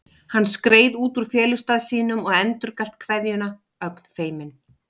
Hann skreið út úr felustað sínum og endurgalt kveðjuna, ögn feiminn.